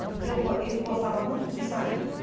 Porque eu, ele gostava muito de sair.